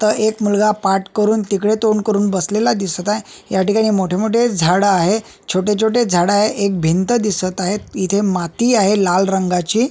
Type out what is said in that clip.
त एक मुलगा पाठ करून तिकडे तोंड करून बसलेला दिसत आहे याठिकाणी मोठे मोठे झाड आहे छोटे छोटे झाड आहे एक भिंत दिसत आहे इथे माती आहे लाल रंगाची.